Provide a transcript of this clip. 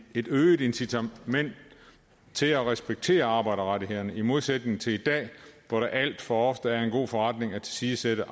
et øget incitament til at respektere arbejderrettighederne i modsætning til i dag hvor det alt for ofte er en god forretning at tilsidesætte